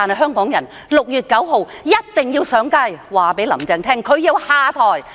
香港人6月9日一定要上街，讓"林鄭"知道她要下台。